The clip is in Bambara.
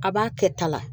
A b'a kɛ ta la